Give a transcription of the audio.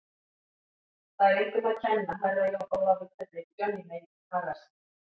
Það er engum að kenna, Herra Jón Ólafur, hvernig Johnny Mate hagar sér.